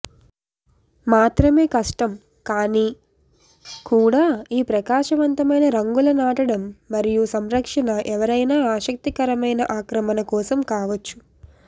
మాత్రమే కష్టం కానీ కూడా ఈ ప్రకాశవంతమైన రంగుల నాటడం మరియు సంరక్షణ ఎవరైనా ఆసక్తికరమైన ఆక్రమణ కోసం కావచ్చు